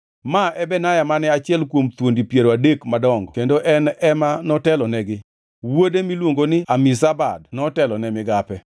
Ma e Benaya mane achiel kuom thuondi piero adek madongo kendo en ema notelonegi. Wuode miluongo ni Amizabad notelo ne migape.